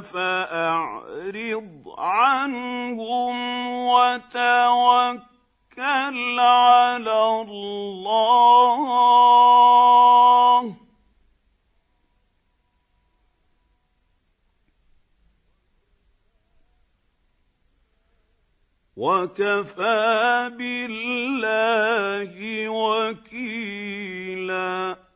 ۖ فَأَعْرِضْ عَنْهُمْ وَتَوَكَّلْ عَلَى اللَّهِ ۚ وَكَفَىٰ بِاللَّهِ وَكِيلًا